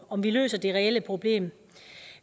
om løser det reelle problem